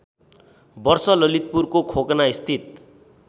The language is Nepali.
वर्ष ललितपुरको खोकनास्थित